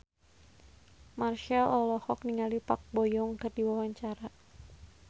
Marchell olohok ningali Park Bo Yung keur diwawancara